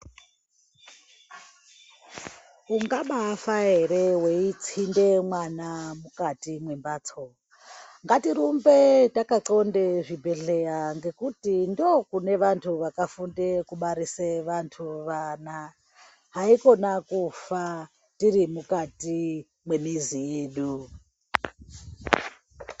Ungabafara here weitsinde mwana mukati memhatso. Ngatirumbe takatxonda zvibhedhlera ngekuti ndokune vantu vakafunde kubarisa vantu vakhona, haikhona kufa tiri mukati memizi yedu.